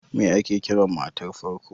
Me ake Kiran matar farko?